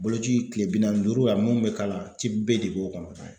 Boloci kile bi naani ni duuru a munnu be k'a la B de b'o kɔnɔ.